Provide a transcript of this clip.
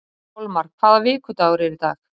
Kolmar, hvaða vikudagur er í dag?